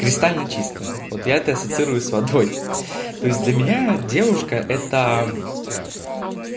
кристально чисто вот я тестирую с водой то есть для меня девушка это